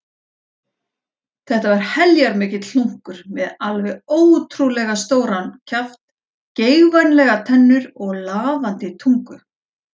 Þetta var heljarmikill hlunkur með alveg ótrúlega stóran kjaft, geigvænlegar tennur og lafandi tungu.